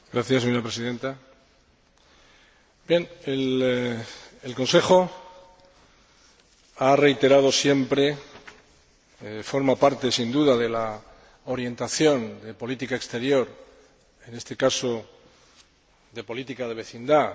El Consejo ha reiterado siempre forma parte sin duda de la orientación de política exterior, en este caso, de política de vecindad, e incluso de la política de ampliación de la Unión Europea